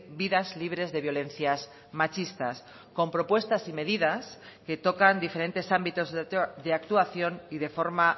vidas libres de violencias machistas con propuestas y medidas que tocan diferentes ámbitos de actuación y de forma